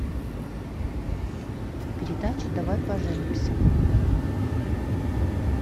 передача давай поженимся